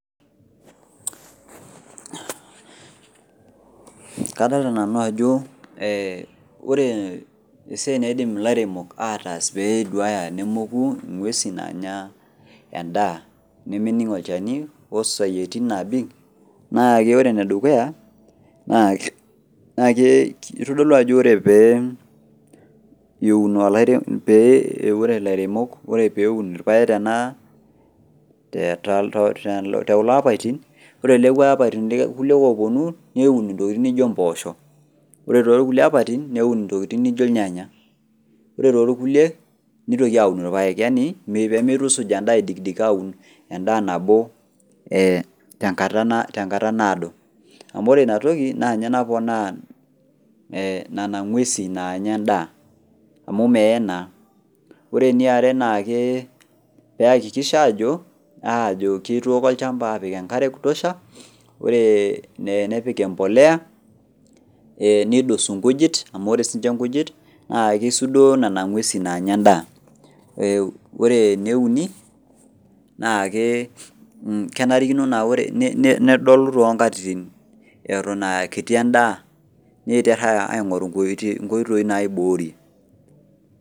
Kadolita nanu ajo ore esiai naas ilairemok pee eduaya nemoku inguesin naanya endaa nemening olchani o sayieti naapik naa keitodlu ajo teneun ilairemok ntokitin naijo irpaek te kulo apaitin ore te kulo apaitin ooponu neun intokitin naijo mpoosho ore te kulo apaitin neun intokitin naijo irnyanya ore te kulie neigil aun irpaek pee meidikidik aun endaa nabo te kata naaduo amu ore ina toki ninye naponaa nena nguesin naanya endaa. Ore eniare naa pee I{hakikisha} ajo eitobira olchamba aapik enkare, nepik olchala, neidosu nkujit amu kisudoo Nena nguesin naanya endaa. Ore ene uni naa kenarikino nedolu toonkatitin eton aa kiti endaa pee atumoki aaibooi.